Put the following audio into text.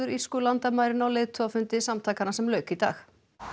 norðurírsku landamærin á leiðtogafundi samtakanna sem lauk í dag